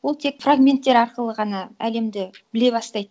ол тек фрагменттер арқылы ғана әлемді біле бастайды